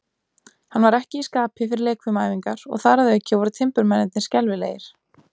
Hann var ekki í skapi fyrir leikfimiæfingar, og þar að auki voru timburmennirnir skelfilegir.